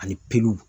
Ani peluw